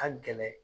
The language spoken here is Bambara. Ka gɛlɛn